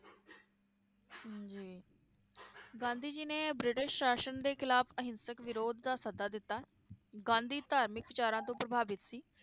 ਗਾਂਧੀ ਜੀ ਨੇ ਬ੍ਰਿਟਿਸ਼ ਸ਼ਾਸ਼ਨ ਦੇ ਖਿਲਾਫ ਅਹਿੰਸਕ ਵਿਰੋਧ ਦਾ ਸੱਦਾ ਦਿੱਤਾ, ਗਾਂਧੀ ਧਾਰਮਿਕ ਵਿਚਾਰਾਂ ਤੋਂ ਪ੍ਰਭਾਵਿਤ ਸੀ